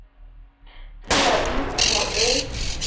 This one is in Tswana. tsewa e le kumo e